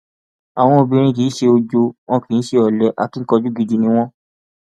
àwọn obìnrin kì í ṣe ọjọ wọn kì í ṣe olè akínkanjú gidi ni wọn